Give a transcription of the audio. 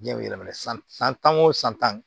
Jiyɛn bɛ yɛlɛmana san tan o san tan